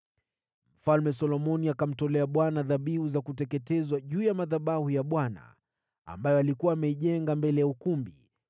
Mfalme Solomoni akamtolea Bwana dhabihu za kuteketezwa juu ya madhabahu ya Bwana ambayo alikuwa ameijenga mbele ya ukumbi,